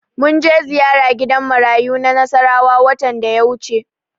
Mun je ziyara gidan marayu na Nasarawa watan da ya wuce.